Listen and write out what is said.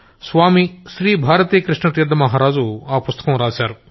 స్వామి శ్రీ భారతీ కృష్ణ తీర్థ మహారాజు ఆ పుస్తకం రాశారు